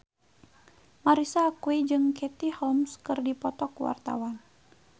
Marisa Haque jeung Katie Holmes keur dipoto ku wartawan